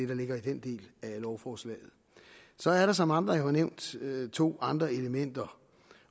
der ligger i den del af lovforslaget så er der som andre jo har nævnt to andre elementer